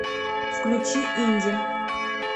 включи инди